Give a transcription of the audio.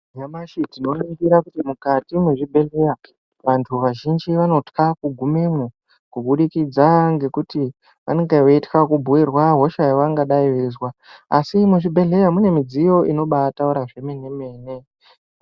Nyamashi tinoringira kuti mukati mwezvibhedhleya vantu vazhinji vanotya kugumemwo kubudikidza ngekuti vanenga veitka kubhuirwa hosha yavanenga veizwa asi muzvibhedhleya mune midziyo inobataura zvemene mene.